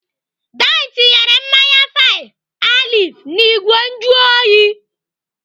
Dinne tinyere mmanya five alive n'igwe njuoyi.